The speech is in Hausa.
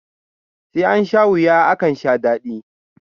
Sai ansha wuya, akan sha daɗi.